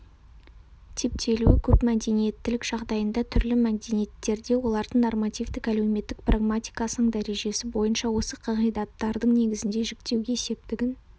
типтелуі көпмәдениеттілік жағдайында түрлі мәдениеттерде олардың нормативтік әлеуметтік-прагматикасының дәрежесі бойынша осы қағидаттардың негізінде жіктеуге септігін